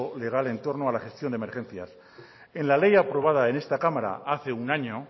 legal en torno a la gestión de emergencia en la ley aprobada en esta cámara hace un año